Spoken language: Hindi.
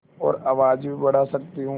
और आवाज़ भी बढ़ा सकती हूँ